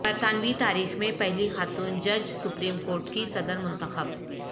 برطانوی تاریخ میں پہلی خاتون جج سپریم کورٹ کی صدر منتخب